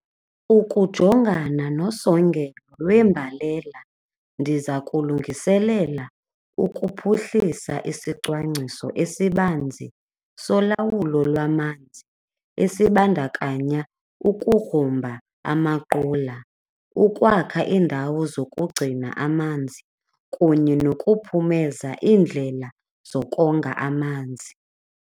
Ukujongana nosongelo lwembalela ndiza kulungiselela ukuphuhlisa isicwangciso esibanzi solawulo lwamanzi esibandakanya ukugrumba amaqula, ukwakha iindawo zokugcina amanzi kunye nokuphumeza iindlela zokonga amanzi.